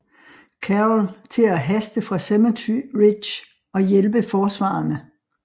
Carroll til at haste fra Cemetery Ridge og hjælpe forsvarerne